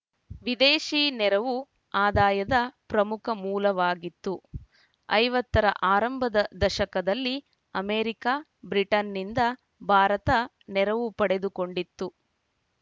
ವಿದೇಶಿ ನೆರವು ಆದಾಯದ ಪ್ರಮುಖ ಮೂಲವಾಗಿತ್ತು ಐವತ್ತ ರ ಆರಂಭದ ದಶಕದಲ್ಲಿ ಅಮೆರಿಕ ಬ್ರಿಟನ್‌ನಿಂದ ಭಾರತ ನೆರವು ಪಡೆದುಕೊಂಡಿತ್ತು